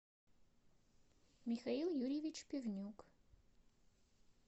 михаил юрьевич пивнюк